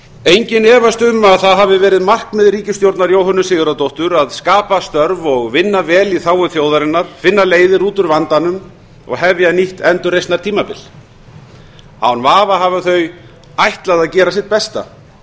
enginn efast um að það hafi verið markmið ríkisstjórnar jóhönnu sigurðardóttur að skapa störf og vinna vel í þágu þjóðarinnar finna leiðir út úr vandanum og hefja nýtt endurreisnartímabil án vafa hafa þau ætlað að gera sitt besta